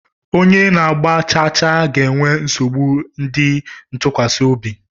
Onye na-agba chaachaa ga-enwe nsogbu ịdị ntụkwasị obi